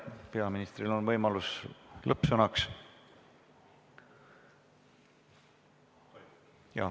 Peaministril on võimalus lõppsõnaks.